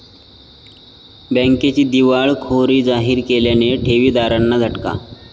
बँकेची दिवाळखोरी जाहीर केल्याने ठेवीदारांना झटका